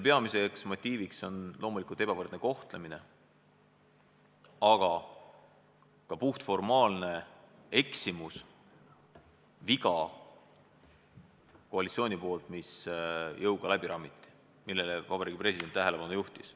Peamine argument on loomulikult ebavõrdne kohtlemine, aga ka puhtformaalne koalitsiooni eksimus, mis jõuga läbi rammiti ja millele Vabariigi President samuti tähelepanu juhtis.